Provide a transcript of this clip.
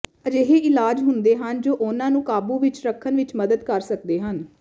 ਅਜਿਹੇ ਇਲਾਜ ਹੁੰਦੇ ਹਨ ਜੋ ਉਨ੍ਹਾਂ ਨੂੰ ਕਾਬੂ ਵਿਚ ਰੱਖਣ ਵਿਚ ਮਦਦ ਕਰ ਸਕਦੇ ਹਨ